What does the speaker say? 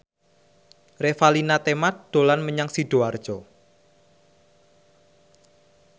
Revalina Temat dolan menyang Sidoarjo